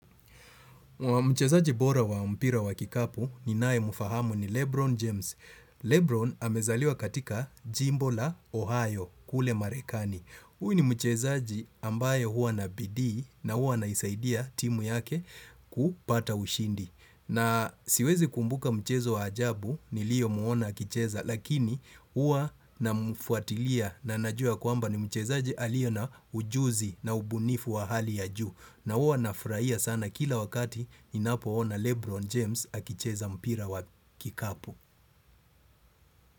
Mchezaji bora wa mpira wa kikapu ninaye mfahamu ni Lebron James. Lebron amezaliwa katika Jimbo la Ohio kule Marekani. Huyu ni mchezaji ambaye huwa na bidii na huwa anaisaidia timu yake kupata ushindi. Na siwezi kumbuka mchezo wa ajabu niliyo muona akicheza lakini huwa namfuatilia na najua ya kwamba ni mchezaji aliye na ujuzi na ubunifu wa hali ya juu. Na huwa nafurahia sana kila wakati ninapoona Lebron James akicheza mpira wa kikapu.